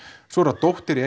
svo er það dóttir